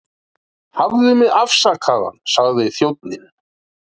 Hafðu mig afsakaðan sagði þjónninn.